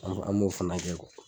An b'o fana kɛ